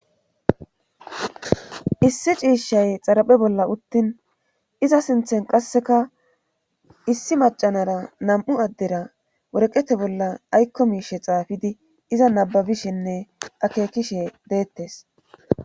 issi ciishshay xaraphe bolla uttin iza sinthen qasseka issi macanara nam7u addera woreqete bolla aykko miishe xaafidi iza nababishinne akeekishe deettes